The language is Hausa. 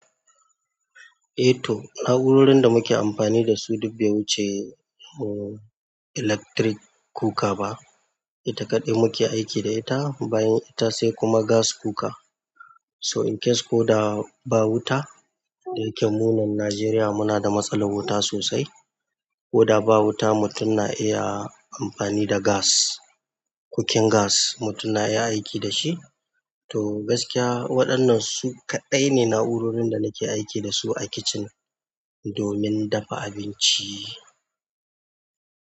Eh to na'urorin da muke amfani da su duk bai wuce electric cooker ba ita kaɗai muke aiki da ita bayan ita sai kuma gas cooker. So in case ko da ba wuta, da yake mu nan Najeriya muna da matsalar wuta sosai. Ko da ba wuta mutum na iya amfani da gas, cooking gas mutum na iya aiki da shi. To gaskiya waɗannan su kaɗai ne na'urorin da nake aiki da su a kitchen domin dafa abinci.